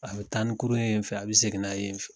A bɛ tan ni kurun ye yen fɛ a bɛ segin n'a ye yen fɛ.